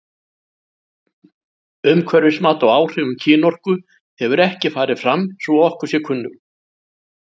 Umhverfismat á áhrifum kynorku hefur ekki farið fram svo að okkur sé kunnugt.